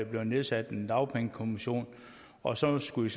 blevet nedsat en dagpengekommission og så skulle